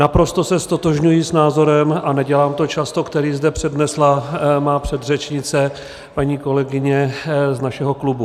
Naprosto se ztotožňuji s názorem, a nedělám to často, který zde přednesla má předřečnice, paní kolegyně z našeho klubu.